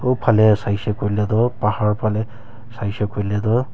uo phale saisey koiley toh pahar phale saisey koiley toh.